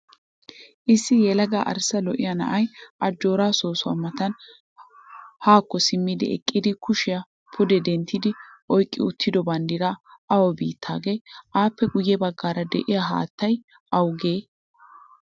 Issi yelaga arssa lo''iyaa na'ayi ajjora soossuwaa matan haakko simmidi eqqidi kushiyaa pudee denttidi oyiqqi uttido baddirayi awa biittaagee? Appe guyye baggan deiyaa haattayi awugee?